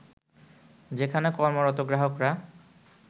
যেখানে কর্মরত গ্রাহকরা